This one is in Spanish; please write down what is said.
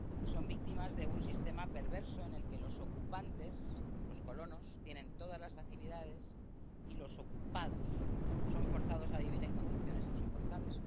Son víctimas de un sistema perverso en el que los ocupantes —los colonos— tienen todas las facilidades, y los ocupados son forzados a vivir en condiciones insoportables.